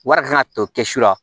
Wari kan ka to kɛsu la